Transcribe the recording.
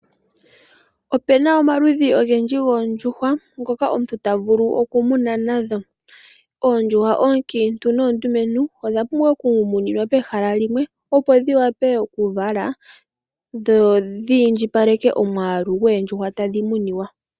Opuna omaludhi ogendji goondjuhwa ngoka omuntu tavulu oku muna nadho. Oondjuhwa oonkiintu noondumentu . Odha pumbwa oku muninwa pehala limwe opo dhi wape oku vala dho dhi indjipaleke omwaalu goondjuhwa tadhi munwa.